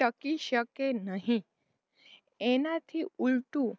ટકી શકે નહીં એનાથી ઊલટું